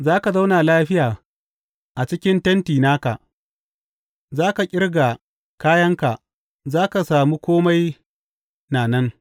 Za ka zauna lafiya a cikin tenti naka, za ka ƙirga kayanka za ka samu kome na nan.